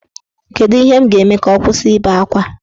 Kedu ihe m ga-eme ka ọ kwụsị ibe akwa?